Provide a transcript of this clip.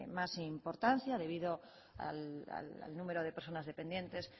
más importancia debido al número de personas dependientes